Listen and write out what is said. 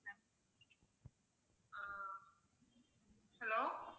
hello